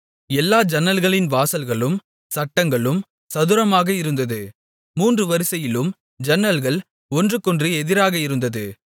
எல்லா ஜன்னல்களின் வாசல்களும் சட்டங்களும் சதுரமாக இருந்தது மூன்று வரிசையிலும் ஜன்னல்கள் ஒன்றுக்கொன்று எதிராக இருந்தது